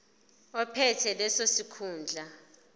ophethe leso sikhundla